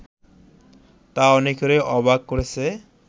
তা অনেককেই অবাক করেছে